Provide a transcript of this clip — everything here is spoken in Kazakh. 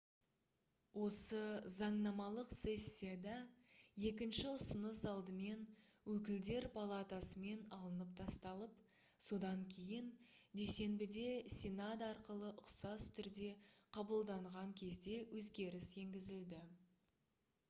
осы заңнамалық сессияда екінші ұсыныс алдымен өкілдер палатасымен алынып тасталып содан кейін дүйсенбіде сенат арқылы ұқсас түрде қабылдаған кезде өзгеріс енгізілді